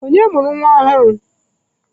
Onye mụrụ nwa ọhụrụ?